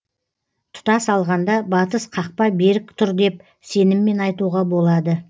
тұтас алғанда батыс қақпа берік тұр деп сеніммен айтуға болады